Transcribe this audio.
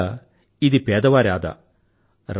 ఒకరకంగా ఇది పేదవారి ఆదా